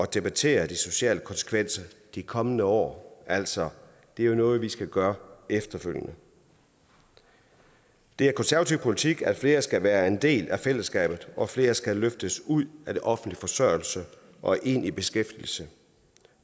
debattere de sociale konsekvenser i de kommende år altså det er jo noget vi skal gøre efterfølgende det er konservativ politik at flere skal være en del af fællesskabet og at flere skal løftes ud af offentlig forsørgelse og ind i beskæftigelse